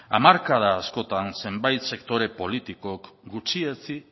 hamarkada askotan zenbati sektore politikok gutxietsi